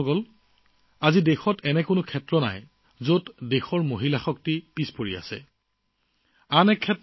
বন্ধুসকল আজি দেশত এনে কোনো ক্ষেত্ৰ নাই যত নাৰী শক্তিৰ প্ৰভাৱ পৰা নাই